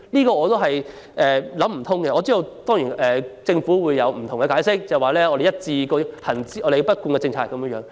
我實在想不通，不過我知道政府會有不同解釋，辯稱這是一貫政策。